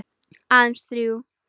Aðeins þrjú.